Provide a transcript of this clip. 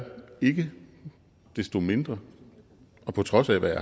ikke desto mindre på trods af hvad